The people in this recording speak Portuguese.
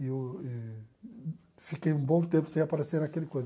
Eu eh fiquei um bom tempo sem aparecer naquele coisa.